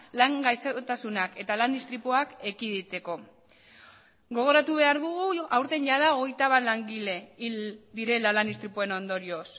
lan gaixotasunak eta lan istripuak ekiditeko gogoratu behar dugu aurten jada hogeita bat langile hil direla lan istripuen ondorioz